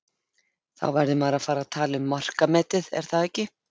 Þá verður maður að fara að tala um markametið, er það ekki?